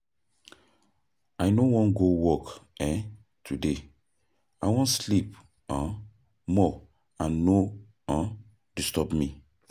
I no wan go work um today, I wan sleep um more and no um disturb me.